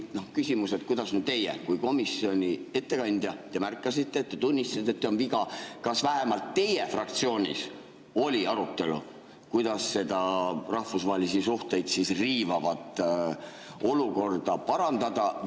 Küsimus: kui teie kui komisjoni ettekandja märkasite, tunnistasite, on viga, siis kas vähemalt teie fraktsioonis oli arutelu, kuidas seda rahvusvahelisi suhteid riivavat olukorda parandada?